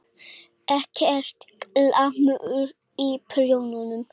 Ekkert glamur í prjónum.